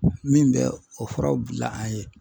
Min bɛ o furaw bila an ye